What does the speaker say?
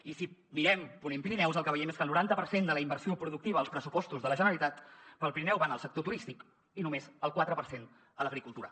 i si mirem ponent pirineus el que veiem és que el noranta per cent de la inversió productiva als pressupostos de la generalitat per al pirineu van al sector turístic i només el quatre per cent a l’agricultura